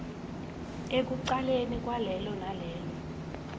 ekucaleni kwalelo nalelo